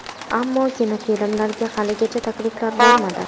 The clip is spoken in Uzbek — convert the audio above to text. Ammo kinofilmlarga haligacha takliflar bo‘lmadi.